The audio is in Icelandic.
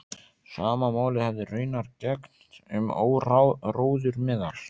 Sama máli hefði raunar gegnt um áróður meðal